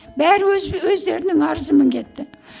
бәрі өз өздерінің арызымен кетті